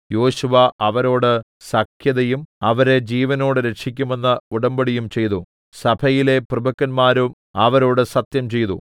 യോശുവ അവരോട് സഖ്യതയും അവരെ ജീവനോടെ രക്ഷിക്കുമെന്ന് ഉടമ്പടിയും ചെയ്തു സഭയിലെ പ്രഭുക്കന്മാരും അവരോട് സത്യംചെയ്തു